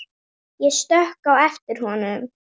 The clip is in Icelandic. Ég stökk á eftir honum.